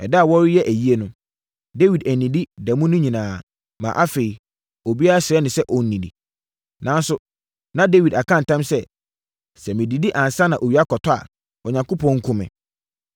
Ɛda a wɔreyɛ ayie no, Dawid annidi da mu no nyinaa, maa afei, obiara srɛɛ no sɛ ɔnnidi. Nanso, na Dawid aka ntam sɛ, “Sɛ medidi ansa na owia akɔtɔ a, Onyankopɔn nku me.”